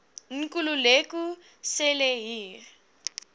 nkululeko cele hier